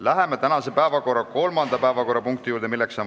Läheme tänase päevakorra kolmanda punkti juurde.